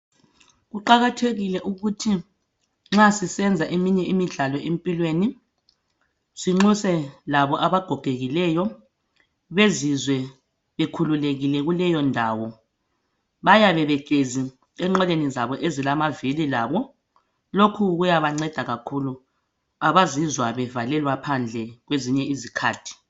Kuqakathekile ukuthi nxa sisenza eminye imidlalo empilweni sinxuse labo abagogekileyo bezizwe bekhululekile kuleyondawo Bayabehlezi enqoleni zabo ezilamavili labo. Lokhu kuyabanceda kakhulu abazizwa bevalelwa phandle kwezinye izikhathi